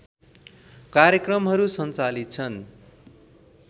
कार्यक्रमहरू सञ्चालित छन्